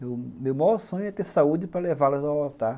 Meu maior sonho é ter saúde para levá-las ao altar.